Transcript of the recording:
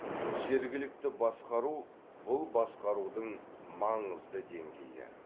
жергілікті басқару бұл басқарудың маңызды деңгейі